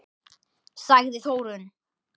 Sagði Þórunn!